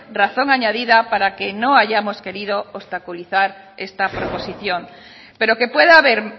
razón añadida para que no hayamos querido obstaculizar esta proposición pero que pueda haber